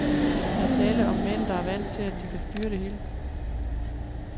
Der er tale om mænd, der er vant til, at de kan styre det hele.